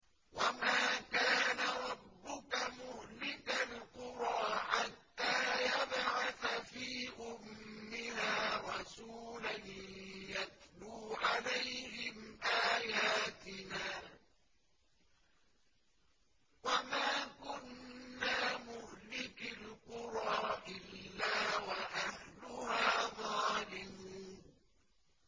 وَمَا كَانَ رَبُّكَ مُهْلِكَ الْقُرَىٰ حَتَّىٰ يَبْعَثَ فِي أُمِّهَا رَسُولًا يَتْلُو عَلَيْهِمْ آيَاتِنَا ۚ وَمَا كُنَّا مُهْلِكِي الْقُرَىٰ إِلَّا وَأَهْلُهَا ظَالِمُونَ